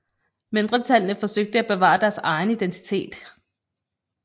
Mindretallene forsøgte at bevare deres egen identitet